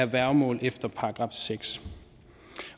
værgemål efter § seks